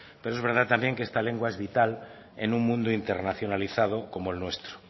pero es verdad también que esta lengua es vital en un mundo internacionalizado como el nuestro